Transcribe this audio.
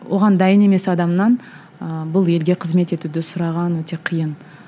оған дайын емес адамнан ыыы бұл елге қызмет етуді сұраған өте қиын